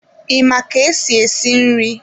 I ma ka-esi esi nri?